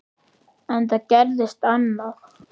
En það gerðist annað.